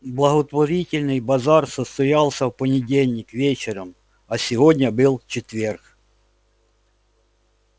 благотворительный базар состоялся в понедельник вечером а сегодня был четверг